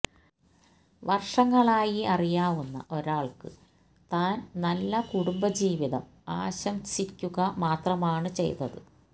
വർഷങ്ങളായി അറിയാവുന്ന ഒരാൾക്ക് താൻ നല്ല കുടുംബജീവിതം ആശംസിക്കുക മാത്രമാണ് ചെയ്തത്